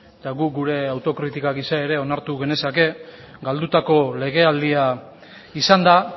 eta guk gure autokritika ere onartu genezake galdutako legealdia izan da